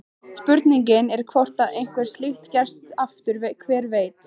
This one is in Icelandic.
Spurningin er hvort að eitthvað slíkt gerist aftur, hver veit?